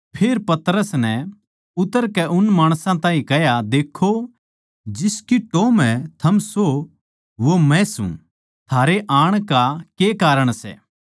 फेर पतरस नै उतरकै उन माणसां ताहीं कह्या देक्खो जिसकी टोह् म्ह थम सो वो मै सूं थारै आण का के कारण सै